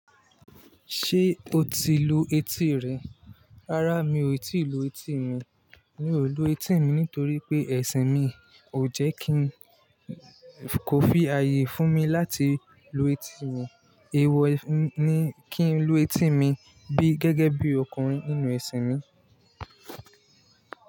Ṣé o ti lu etí rẹ? Rárá, mi ò tíì lu etí mi. Mi ò lu etí mi nítorí pé ẹṣin mi kò fi ààyè fún mi láti lu etí mi. Ewọ ni kí n lu etí mi gẹ́gẹ́ bí ọkùnrin nínú ẹṣin mi.